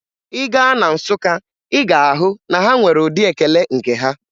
Ị gaa na Nsụka, Ị ga-ahụ na ha nwere ụdị ekele nke ha.